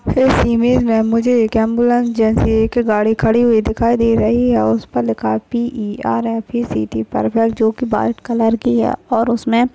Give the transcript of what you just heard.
इस इमेज मे मुझे एक ॲम्ब्युलन्स जैसी एक गाडी खड़ी हुई दिखाई दे रही है और उस पर लिखा पी_ई_आर_एफ_ई_सी_टी पर्फेक्ट जो की बाट कलर की है। और उसमे--